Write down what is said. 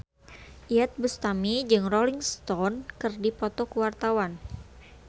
Iyeth Bustami jeung Rolling Stone keur dipoto ku wartawan